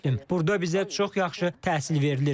Burda bizə çox yaxşı təhsil verilir.